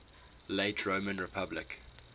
late roman republic